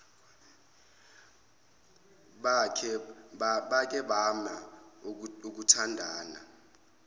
bake bame ukuthandana